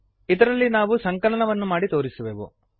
ಇದರಲ್ಲಿ ನಾವು ಸಂಕಲನವನ್ನು ಮಾಡಿ ತೋರಿಸುವೆವು